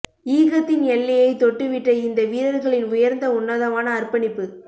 ஈகத்தின் எல்லையைத் தொட்டுவிட்ட இந்த வீரர்களின் உயர்ந்த உன்னதமான அர்ப்பணிப்பு